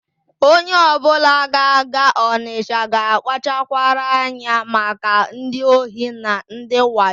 Onye ọbụla ga-aga Ọnịsha ga-akpachara anya maka ndị ohi na ndị wayo.